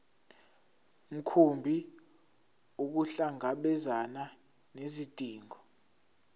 mkhumbi ukuhlangabezana nezidingo